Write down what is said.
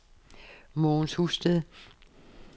Mogens Husted